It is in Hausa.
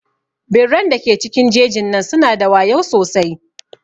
Birran da ke cikin jejin nan su na da wayau sosai.